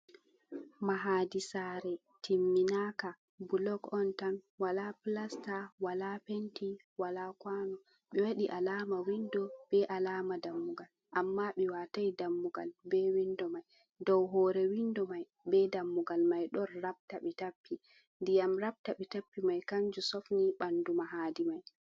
Mahadi sare timmi naka bulok on tan wala pilasta wala penti wala kwano ɓe waɗi alama windo be alama dammugal amma ɓe watai dammugal be windo mai. Dow hore windo mai be dammugal mai ɗon rabta ɓe tappi ndiyam rabta ɓe tappi mai kanju sofni ɓandu mahadi mai.